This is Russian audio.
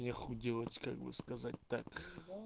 нехуй делать как бы сказать так